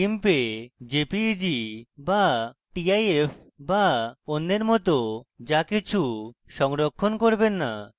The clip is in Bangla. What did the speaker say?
gimp jpeg বা tif বা অন্যের মত যা কিছু সংরক্ষণ করবেন না